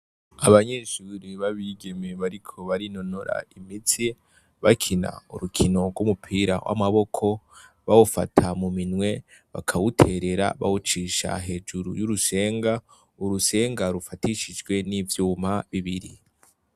Abanyeshuri b'abigeme bariko barinonora imitsi bakina urukino rw'umupira w'amaboko, bawufata mu minwe bakawuterera bawucisha hejuru y'urusenga, urusenga rufatishijwe n'ivyuma bibiri.